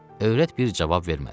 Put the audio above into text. Övrət bir cavab vermədi.